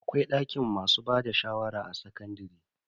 Akwai dakin masu bada shawara a sakandare.